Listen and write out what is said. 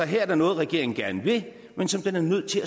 her er noget regeringen gerne vil men som den er nødt til